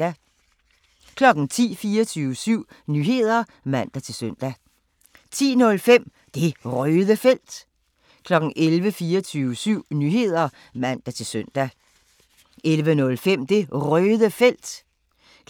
10:00: 24syv Nyheder (man-søn) 10:05: Det Røde Felt 11:00: 24syv Nyheder (man-søn) 11:05: Det Røde Felt